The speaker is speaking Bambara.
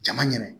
Jama ɲɛ